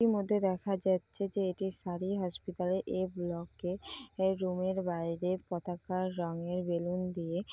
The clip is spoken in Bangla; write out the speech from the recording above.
ইতিমধ্যে দেখা যাচ্ছে যে এটি শাড়ি হসপিটালে এ ব্লক এর রুম এর বাইরে পতাকার রঙের বেলুন দিয়ে-- |